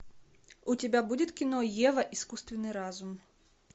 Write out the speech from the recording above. у тебя будет кино ева искусственный разум